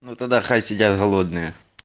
ну тогда хай сидят голодные